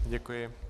Děkuji.